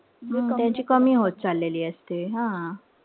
त्यांची कमी होत चाललेली असते. हा.